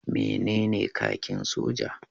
Menene kakin soja?